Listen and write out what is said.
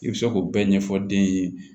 I bɛ se k'o bɛɛ ɲɛfɔ den ye